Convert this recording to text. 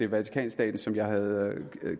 vatikanstaten som jeg havde